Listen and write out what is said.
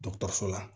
Dɔgɔtɔrɔso la